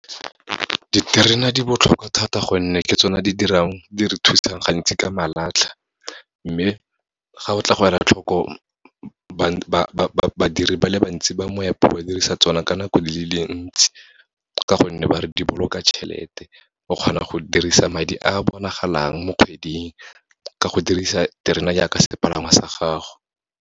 Diterena di botlhokwa thata gonne, ke tsone di re thusang gantsi ka malatlha. Mme ga o tla go ela tlhoko, ba badiri ba le bantsi ba moepo ba dirisa tsona ka nako le le ntsi, ka gonne ba re di boloka tšhelete. O kgona go dirisa madi a bonagalang mo kgweding, ka go dirisa terena jaaka sepalangwa sa gago.